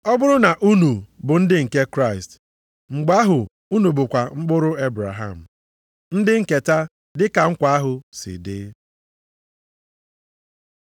Ọ bụrụ na unu bụ ndị nke Kraịst, mgbe ahụ unu bụkwa mkpụrụ Ebraham, ndị nketa dị ka nkwa ahụ si dị.